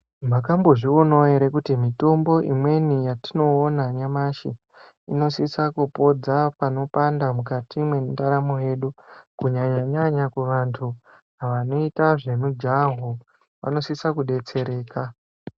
Mwakambozvionawo ere kuti mitombo imweni yatinoona nyamashi inosisa kupodza panopanda mukati mwendaramo yedu kunyanya nyanya kuvantu vanoita zvemujaho vanosisa kudetsereka.